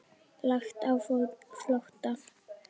Lagt á flótta